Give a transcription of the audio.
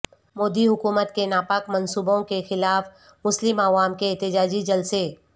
مودی حکومت کے ناپاک منصوبوں کے خلاف مسلم عوام کے احتجاجی جلسے